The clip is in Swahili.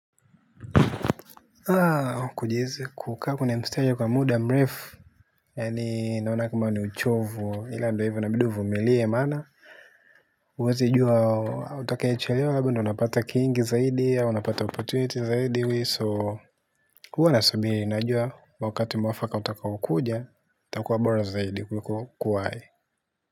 Kujieza kukaa kwenye mstari kwa muda mrefu. Yani naona kama ni uchovu ila ndo hivyo inabidi uvumilie maana huwezi jua utakaechelewa habo ndo unapata kingi zaidi au unapata opportunity zaidi we so. Huwanasabiri najua wakati mwafaka utakaokuja utakuwa bora zaidi kuliko.